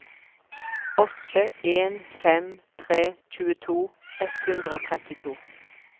åtte en fem tre tjueto ett hundre og trettito